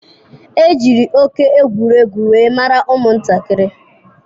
Ejiri oké egwuregwu wee mara ụmụ nkịta.